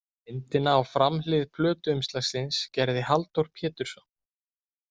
Myndina á framhlið plötuumslagsins gerði Halldór Pétursson.